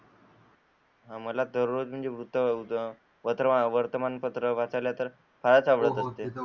मला तर दररोज वर्तमान पत्र वाचायला तर फारच आवडते.